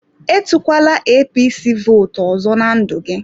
Etukwala APC votu ọzọ na ndụ gị!